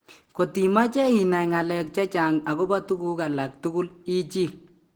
Kot imache inai ng'alek chechang agobo tuguk alak tugul ichil